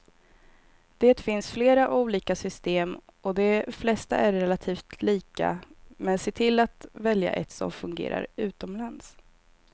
Det finns flera olika system och de flesta är relativt lika, men se till att välja ett som fungerar utomlands.